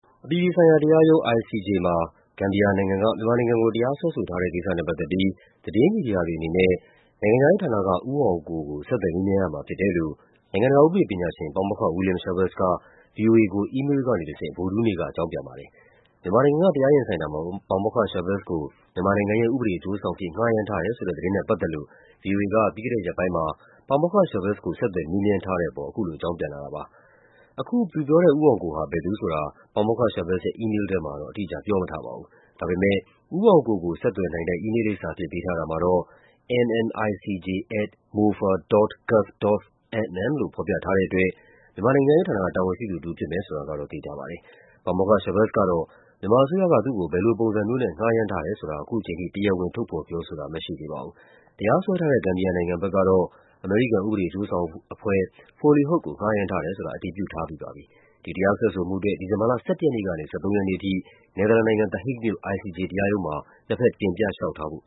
အပြည်ပြည်ဆိုင်ရာ တရားရုံး (ICJ) မှာ ဂမ်ဘီယာနိုင်ငံက မြန်မာနိုင်ငံကို တရားစွဲဆိုထားတဲ့ ကိစ္စနဲ့ ပတ်သက်ပြီး သတင်းမီဒီယာ တွေအနေနဲ့ နိုင်ငံခြားရေးဌာနက ဦးအောင်ကို ကို ဆက်သွယ် မေးမြန်းရမှာ ဖြစ်တယ်လို့ နိုင်ငံတကာ ဥပဒေပညာရှင် ပါမောက္ခ William Schabas က ဗွီအိုအေကို အီးမေးလ်ကနေ တဆင့် ဗုဒ္ဓဟူးနေ့က အကြောင်းပြန်ပါတယ်။ မြန်မာနိုင်ငံက တရားရင်ဆိုင်တာမှာ ပါမောက္ခ Schabas ကို မြန်မာနိုင်ငံရဲ့ ဥပဒေ အကျိုးဆောင် အဖြစ် ငှားရမ်းထားတယ်ဆိုတဲ့ သတင်းနဲ့ ပတ်သက်လို့ ဗွီအိုအေက ပြီးခဲ့တဲရက်ပိုင်းမှာ ပါမောက္ခ Schabas ကို ဆက်သွယ် မေးမြန်းထားတဲ့ အပေါ် အခုလို အကြောင်းပြန်လာတာပါ။ အခု ဦးအောင်ကိုက ဘယ်သူဆိုတာ ပါမောက္ခ Schabas ရဲ့ အီးမေးလ်ထဲမှာ အတိအကျပြောမထားပါဘူး။ ဒါပေမယ့် ဦးအောင်ကိုကို ဆက်သွယ်နိုင်တဲ့ အီးမေးလ် လိပ်စာအဖြစ် ပေးထားတာမှာတော့ mmicj@mofa.gov.mm လို့ ဖော်ပြထားတဲ့ အတွက် မြန်မာ နိုင်ငံခြားရေးဌာနက တာဝန်ရှိသူတဦး ဖြစ်မယ်ဆိုတာကတော့ သေချာပါတယ်။ ပါမောက္ခ Schabas ကတော့ မြန်မာအစိုးရက သူ့ကို ဘယ်လိုပုံစံမျိုးနဲ့ ငှားရမ်းထားတယ်ဆိုတာ အခုချိန်ထိ တရားဝင် ထုတ်ဖော် ပြောဆိုတာမရှိသေးပါဘူး။ တရားစွဲထားတဲ့ ဂမ်ဘီယာနိုင်ငံဘက်ကတော့ အမေရိကန် ဥပဒေအကျိုးဆောင်အဖွဲ့ Foley Hoag ကို ငှားရမ်းထားတယ်ဆိုတာ အတည်ပြုထားပြီး ဖြစ်ပါတယ်။ ဒီတရားစွဲဆိုမှုအတွက် ဒီဇင်ဘာလ ၁၁ ရက်နေ့ကနေ ၁၃ ရက်နေ့အထိ နယ်သာလန်နိုင်ငံ၊ The Hague မြို့ ICJ တရားရုံးမှာ နှစ်ဘက် တင်ပြလျှောက်ထားဖို့